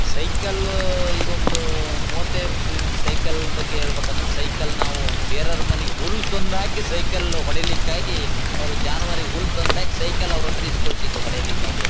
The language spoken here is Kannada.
ಸೈಕಲ್ ಆಹ್ ಈಗೊಂದು ಮೂವತ್ತ್ಯದು ವರ್ಷ ಹಿಂದೆ ಸೈಕಲ್ ಬಗ್ಗೆಹೇಳಬೇಕಂದ್ರೆ ಸೈಕಲ್ ನಾವು ಬೇರವರ ಮನೆಗೆ ಹುಲ್ಲುತಂದು ಹಾಕಿ ಸೈಕಲ್ ಹೊಡಿಲಿಕ್ಕಾಗಿ ಅವರು ಜಾನುವಾರು ಹುಲ್ಲು ತಂದು ಹಾಕಿ ಸೈಕಲ್ ಅವರ ಹತ್ರ ಇಸ್ಕೊಳ್ತಿದ್ದೊ ಹೊಡಿಲಿಕ್ಕಾಗಿ--